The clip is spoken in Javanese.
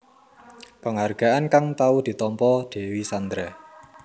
Penghargaan kang tau ditampa Dewi Sandra